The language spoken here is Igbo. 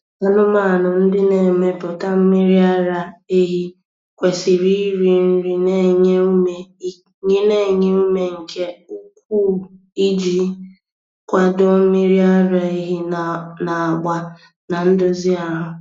Anụmanụ ndị na-emepụta mmiri ara ehi kwesiri iri nri na-enye ume nke ukwuu iji kwado mmiri ara ehi na-agba na ndozi ahụ.